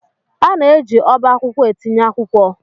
A na-eji ọba akwụkwọ etinye akwụkwọ.